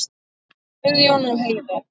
Guðjón og Heiða.